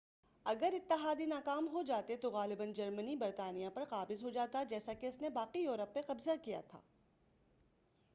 اگر اتحادی ناکام ہو جاتے تو غالباً جرمنی برطانیہ پر قابض ہو جاتا جیسا کہ اس نے باقی یورپ پر قبضہ کیا تھا